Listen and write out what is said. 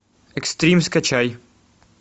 экстрим скачай